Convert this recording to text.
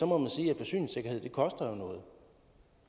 må man sige at forsyningssikkerhed jo koster noget